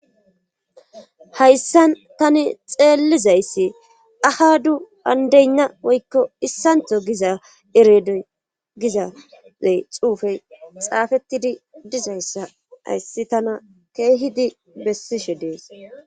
Hayisan tani xelizayis ahadu andeyina woy issanitho giza xupeyi hayis tana keehidi besishe dees.